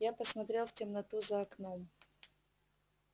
я посмотрел в темноту за окном